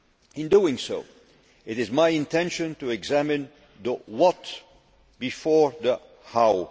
In doing so, it is my intention to examine the what' before the how'.